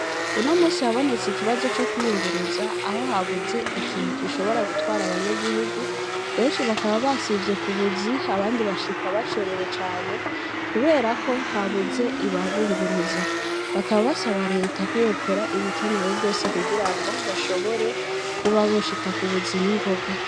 Uno munsi habonetse ikibazo co kwiyunguruza, aho habuze ikintu gishobora gutwara abanyagihugu, benshi bakaba basivye kubuzi abandi bashika bacerewe cane, kubera ko habuze ibibunguruza; bakaba basaba leta ko yokora ibikenewe vyose, kugira ngo bashobore kuba boshika ku buzi ningoga.